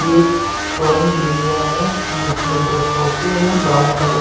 ये drawing area हैजिसमें दो सोफे हैंब्राउन कलर --